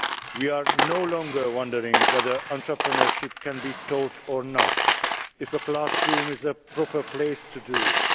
We are no longer wondering whether entrepreneurship can be taught or not whether a classroom is a proper place to do it.